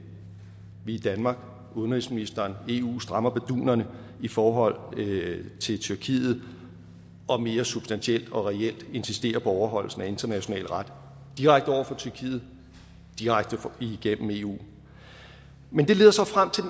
i danmark udenrigsministeren og eu strammer bardunerne i forhold til tyrkiet og mere substantielt og reelt insisterer på overholdelsen af international ret direkte over for tyrkiet direkte igennem eu men det leder så frem til